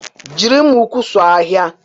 Jiri mma ukwu suo ahịhịa.